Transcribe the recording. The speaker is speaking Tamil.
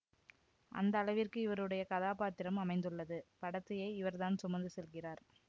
அந்த அளவிற்கு இவருடைய கதாபாத்திரம் அமைந்துள்ளது படத்தையே இவர்தான் சுமந்து செல்கிறார்